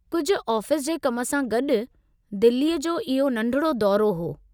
कुझु आफ़ीस जे कम सां गॾु, दहिलीअ जो इहो नंढ़िड़ो दौरो हो।